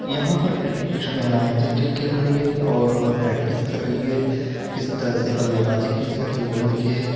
यहां पर कुछ महिलाएं क्रिकेट खेल रही हैं और अपना प्रैक्टिस कर रही हैं किस तरह से बल्लेबाजी की जाती है वह देखिए।